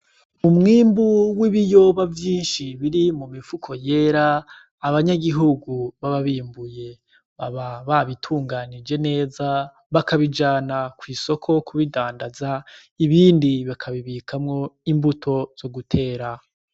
Umwumbi w'ibiyoba vyinshi biri mu mifuko yera, abanyagihugu baba bimbuye baba babitunganyije neza bakabijana kw'isoko kubidandaza. Ibindi bakabibikamo imbuto zo gutera.